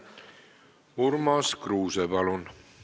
Urmas Kruuse, palun!